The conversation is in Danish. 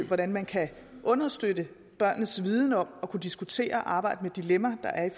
hvordan man kan understøtte børnenes viden om at kunne diskutere og arbejde med de dilemmaer der er